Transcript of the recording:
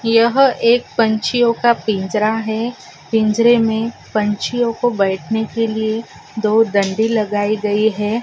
यह एक पंछीयो का पिंजरा है पिंजरे मे पंछियो को बैठने के लिए दो डंडी लगायी गयी है।